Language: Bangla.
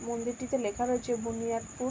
মন্দিরটিতে লেখা রয়েছে বুনিয়াদপুর ।